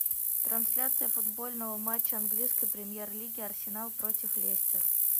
трансляция футбольного матча английской премьер лиги арсенал против лестер